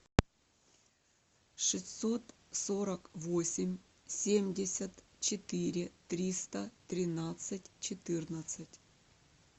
шестьсот сорок восемь семьдесят четыре триста тринадцать четырнадцать